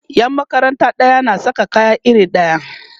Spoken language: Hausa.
Yan makaranta ɗaya na Saka kaya iri ɗaya